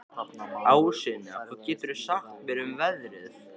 Ásynja, hvað geturðu sagt mér um veðrið?